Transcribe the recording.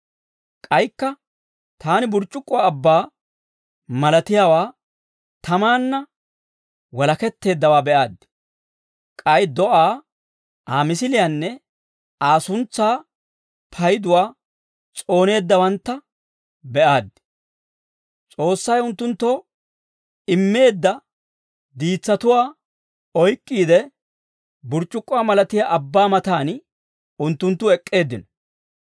K'aykka taani burc'c'ukkuwaa abbaa malatiyaawaa tamaanna walaketteeddawaa be'aaddi. K'ay do'aa, Aa misiliyaanne Aa suntsaa payduwaa s'ooneeddaawantta be'aaddi. S'oossay unttunttoo immeedda diitsatuwaa oyk'k'iide, burc'c'ukkuwaa malatiyaa abbaa matan unttunttu ek'k'eeddino.